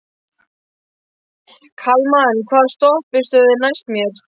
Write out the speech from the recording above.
Kalman, hvaða stoppistöð er næst mér?